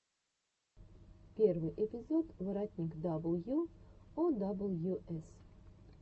первый эпизод воротник дабл ю о дабл ю эс